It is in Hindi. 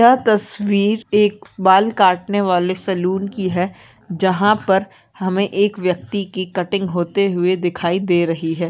यह तस्वीर एक बाल काटने वाले सैलून की है जहाँ पर हमें एक व्यक्ति की कटिंग होते हुए दिखाई दे रही है।